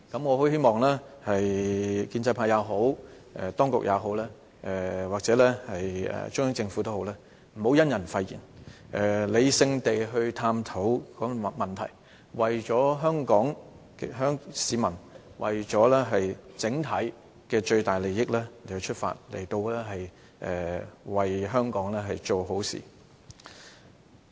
我希望無論建制派也好，當局或中央政府也好，不要以人廢言，而應理性地探討問題，為香港市民整體最大的利益出發，為香港做好事。